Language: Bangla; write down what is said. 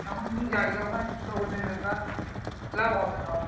এমনই জায়গা ওখানে ছোট করলে বেকার লাভ হবে না অত